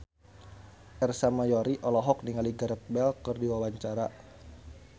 Ersa Mayori olohok ningali Gareth Bale keur diwawancara